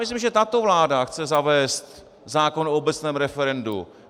Myslím, že tato vláda chce zavést zákon o obecném referendu.